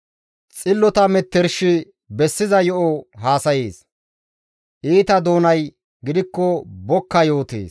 Xillota metershay bessiza yo7o haasayees; iita doonay gidikko bokka yootees.